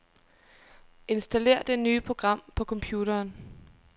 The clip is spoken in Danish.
Installér det nye program på computeren.